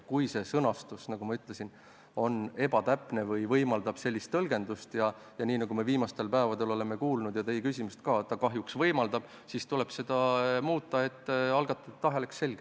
Kui eelnõu praegune sõnastus, nagu ma ütlesin, on ebatäpne või sellist tõlgendust võimaldav – nagu me viimastel päevadel oleme kuulnud ja arvestades ka teie küsimust, siis kahjuks ta seda võimaldab –, siis tuleb sõnastust muuta, et algatajate tahe oleks selge.